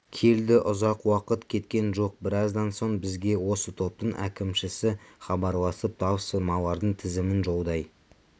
келді ұзақ уақыт кеткен жоқ біраздан соң бізге осы топтың әкімшісі хабарласып тапсырмалардың тізімін жолдай